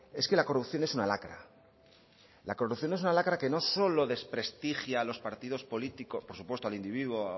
es que la corrupción es una lacra la corrupción es una lacra que no solo desprestigia a los partidos políticos por supuesto al individuo